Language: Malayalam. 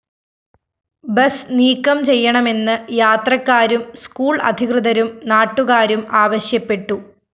ബസ് നീക്കം ചെയ്യണമെന്ന് യാത്രക്കാരും സ്കൂൾ അധികൃതരും നാട്ടുകാരും ആവശ്യപ്പെട്ടു